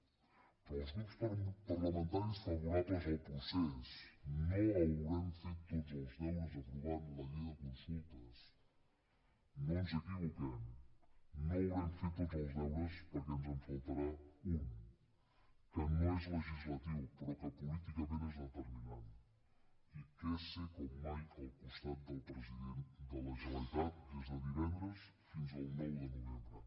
però els grups parlamentaris favorables al procés no haurem fet tots els deures aprovant la llei de consultes no ens equivoquem no haurem fet tots els deures perquè ens en faltarà un que no és legislatiu però que políticament és determinant i que és ser com mai al costat del president de la generalitat des de divendres fins al nou de novembre